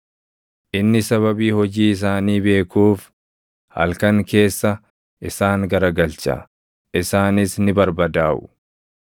Inni sababii hojii isaanii beekuuf, halkan keessa isaan garagalcha; isaanis ni barbadaaʼu.